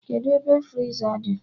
Kedụ ebe friza dị?